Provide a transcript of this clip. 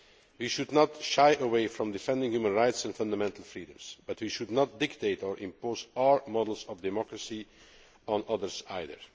We should not shy away from defending human rights and fundamental freedoms, but we should not dictate or impose our models of democracy on others either.